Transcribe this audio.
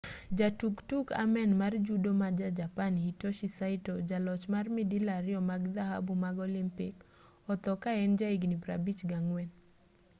jatug tuk amen mar judo ma ja-japan hitoshi saito jaloch mar midila ariyo mag dhahabu mag olympic otho ka en ja higni 54